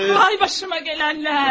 Ay başıma gələnlər.